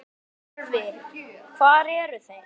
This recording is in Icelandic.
Sölvi: Hvar voru þeir?